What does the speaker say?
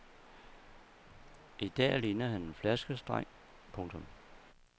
I dag ligner han en flaskedreng. punktum